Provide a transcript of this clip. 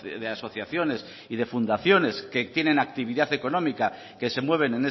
de asociaciones y de fundaciones que tienen actividad económica que se mueven